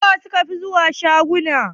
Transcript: Suwa suka fi zuwa shaguna sayayya?